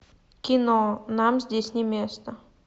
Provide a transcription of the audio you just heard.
кино нам здесь не место